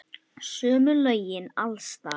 Sömu lögin alls staðar.